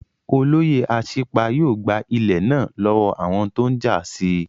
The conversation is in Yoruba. Olóyè Asípa yóò gba ilẹ̀ náà lọ́wọ́ àwọn tó n jà sí